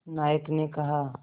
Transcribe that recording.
नायक ने कहा